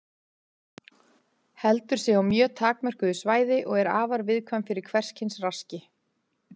Heldur sig á mjög takmörkuðu svæði og er afar viðkvæm fyrir hvers kyns raski.